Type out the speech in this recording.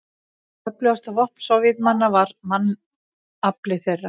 Öflugasta vopn Sovétmanna var mannafli þeirra.